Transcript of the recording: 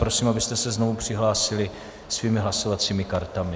Prosím, abyste se znovu přihlásili svými hlasovacími kartami.